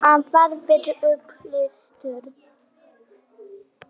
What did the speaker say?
Afar vel upplýstur.